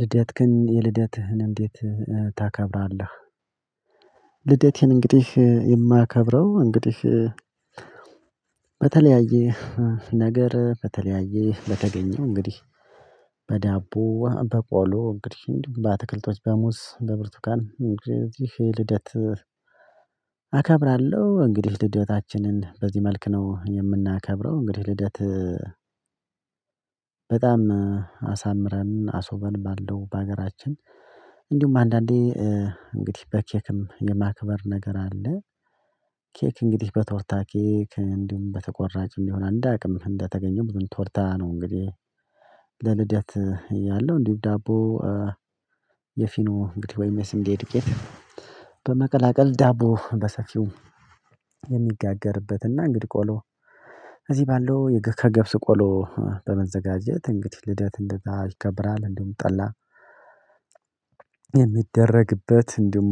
ልደትክን የልደትህን እንዴት ታከብራለህ? ልደቴን እንግዲህ የማከብረው እንግዲህ በተለያየ ነገር በተለያየ በተገኘው እንግዲህ በዳቦ በቆሎ እንግዲህ በአትክልቶች በሙዝ በብርቱካን እንደዚህ ልደት አከብራለሁ። እንግዲህ ልደታችንን በዚህ መልክ ነው የምናከብረው። እንግዲህ ልደት በጣም አሳምረን አሱበን ባለው በሀገራችን እንዲሁም አንዳንዴ እንግዲህ በኬክም የማክበር ነገር አለ ኬክ እንግዲህ በቶርታ ኬክ እንዲሁም በተቆራጭ እንዲሆን እንደአቅም እንዳተገኘው ቶርታ ነው። እንግዲህ ለልደት ያለው እንዲሁ ዳቦ የፊኖ እንግዲህ ወይም የስንዴ ዱቄት በመቀላቀል ዳቦ በሰፊው የሚጋገርበትና እንግዲህ ቆሎ እዚህ ባለው ከገብስ ቆሎ በመዘጋጀት እንግዲህ ልደት እንደዛ ይከብራል። እንደውም ጠላ የሚደረግበት እንዲሁም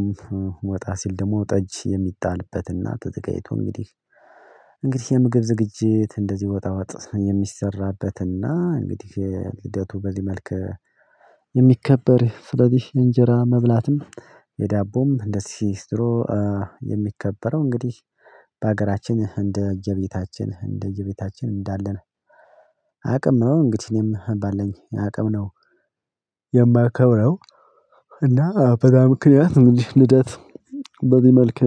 ወጣ ሲል ደግሞ ጠጅ የሚጣልበትና ተዘጋጅቶ እንግዲህ እንግዲህ የምግብ ዝግጅት እንደዚህ ወጣ ወጥ የሚሰራበትና እንግዲህ ሂደቱ በዚህ መልክ የሚከበር። ስለዚህ እንጀራ መብላትም የዳቦም እንደዚህ ሲስትሮ የሚከበረው እንግዲህ በሀገራችን እንደየቤታችን እንደየቤታችን እንዳለን አቅም ነው እንግዲህ እኔም ባለንኝ አቅም ነው የማከብረው። እና በዛ ምክንያት ምንድነው ልደት በዚህ መልክ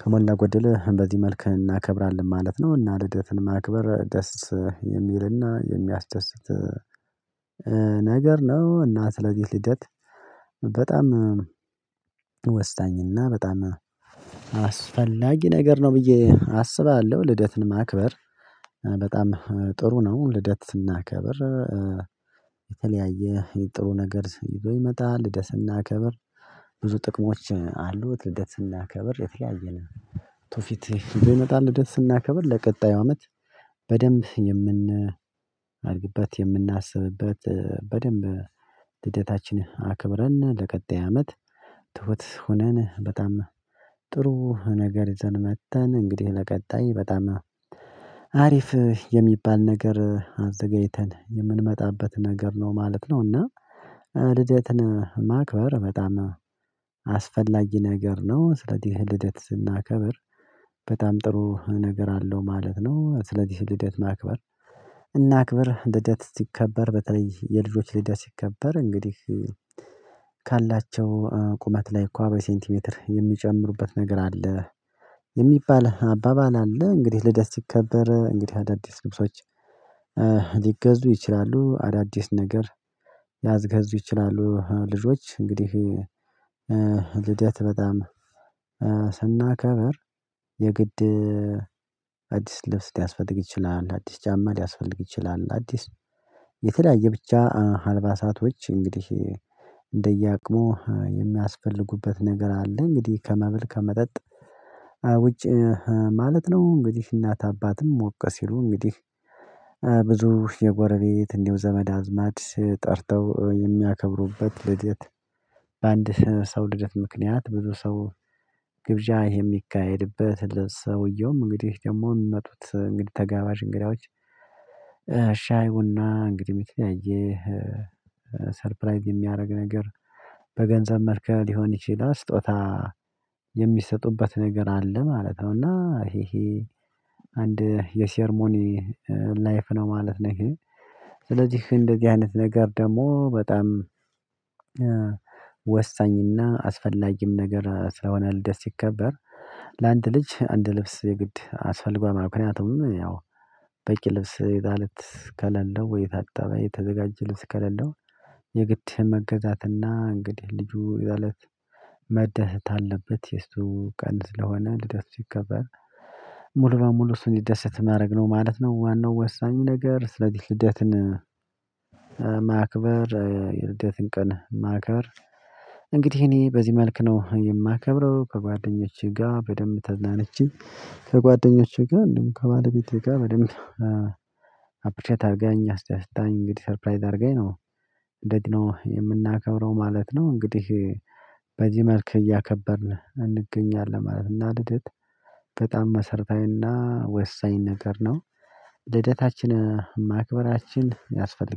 ከሞላጎደል በዚህ መልክ እናከብራለን ማለት ነው። እና ልደትን ማክበር ደስ የሚልና የሚያስደስት ነገር ነው። እና ስለዚህ ልደት በጣም ወሳኝና በጣም አስፈላጊ ነገር ነው ብዬ አስባለሁ ልደትን ማክበር በጣም ጥሩ ነው። ልደት ስናከብር የተለያየ የጥሩ ነገር ይዞ ይመጣል ልደት ስናከብር ብዙ ጥቅሞች አሉት። ልደት ስናከብር የተለያየን ቱርፊት ይዞ ይመጣል። ልደት ስናከብር ለቀጣዩ አመት በደንብ የምን አድግበት የምናስብበት በደንብ ልደታችንን አክብረን ለቀጣይ አመት ትሁት ሆነን በጣም ጥሩ ነገር ይዘን መጥተን እንግዲህ ለቀጣይ በጣም አሪፍ የሚባል ነገር አዘጋጅተን የምንመጣበት ነገር ነው ማለት ነው። እና ልደትን ማክበር በጣም አስፈላጊ ነገር ነው። ስለዚህ ልደት ስናከብር በጣም ጥሩ ነገር አለው ማለት ነው። ስለዚህ ልደት ማክበር እናክብር ልደት ሲከበር በተለይ የልጆች ልደት ሲከበር እንግዲህ ካላቸው ቁመት ላይ እኮ በሴንቲሜትር የሚጨምሩበት ነገር አለ የሚባል አባባል አለ እንግዲህ ልደት ሲከበር እንግዲህ አዳዲስ ልብሶች ሊገዙ ይችላሉ። አዳዲስ ነገር ሊያስገዙ ይችላሉ። ልጆች እንግዲህ ልደት በጣም ስናከብር የግድ አዲስ ልብስ ሊያስፈልግ ይችላል አዲስ ጫማ ሊያስፈልግ ይችላል አዲስ የተለያየ ብቻ አልባሳቶች እንግዲህ እንደየአቅሙ የሚያስፈልጉበት ነገር አለ። እንግዲህ ከመብል ከመጠጥ ውጪ ማለት ነው። እንግዲህ እናት አባትም ሞቀ ሲሉ እንግዲህ ብዙ የጎረቤት እንዲሁ ዘመድ አዝማድ ጠርተው የሚያከብሩበት ልደት በአንድ ሰው ልደት ምክንያት ብዙ ሰው ግብዣ ይሄ የሚካሄድበት ለሰውየውም እንግዲህ ደግሞ የሚመጡት እንግዲህ ተጋባሽ እንግዳዎች ሻይ ቡና እንግዲህ የተለያየ ሰርፕራይዝ የሚያደርግ ነገር በገንዘብ መልክ ሊሆን ይችላል ስጦታ የሚሰጡበት ነገር አለ። ማለት ነው እና ይሄ ይሄ አንድ የሴርሞኒ ላይፍ ነው ማለት ነው። ይሄ ስለዚህ እንደዚህ አይነት ነገር ደግሞ በጣም ወሳኝና አስፈላጊም ነገር ስለሆነ ልደስ ሲከበር ለአንድ ልጅ አንድ ልብስ የግድ አስፈልጓል ማለት ነው። ምክንያቱም ያው በቂ ልብስ የዛ እለት ከሌለው ወይ የታጠበ የተዘጋጀ ልብስ ከሌለው የግድ መገዛትና እንግዲህ ልጁ ይ እለት መደሰት አለበት የእሱ ቀን ስለሆነ ልደት ሲከበር ሙሉ በሙሉ እሱ እንዲደሰት ማድረግ ነው ማለት ነው። ዋናው ወሳኙ ነገር ስለዚህ ልደትን ማክበር የልደትን ቀን ማክበር እንግዲህ እኔ በዚህ መልክ ነው የማከብረው ከጓደኞቼ ጋር በደንብ ተዝናንቼ ከጓደኞቼ ጋር እንዲሁም ከባለቤቴ ጋር በደንብ አፕሪሼት አርጋኝ አስደስታኝ እንግዲህ ሰርፕራይዝ አርጋኝ ነው እንደዚህ ነው የምናከብረው ማለት ነው። እንግዲህ በዚህ መልክ እያከበርን እንገኛለን ማለት ነው። እና ልደት በጣም መሰረታዊና ወሳኝ ነገር ነው ልደታችን ማክበራችን ያስፈልጋል